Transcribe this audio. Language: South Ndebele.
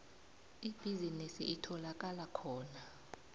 ibhizinisi itholakala khona